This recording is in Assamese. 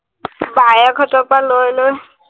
বায়েকহঁতৰ পৰা লৈ লৈ